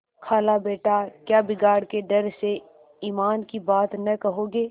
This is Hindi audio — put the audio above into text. खालाबेटा क्या बिगाड़ के डर से ईमान की बात न कहोगे